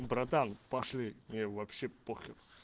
братан пошли мне вообще похер